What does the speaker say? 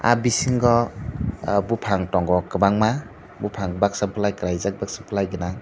ahh bisingo bufang tongo kwbangma bufang baksa kalaijak baksa belai ganang.